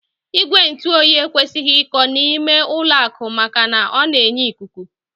Igwe ntụoyi ekwesịghị iko n'ime ụlọakụ maka na ọ na-enye ikuku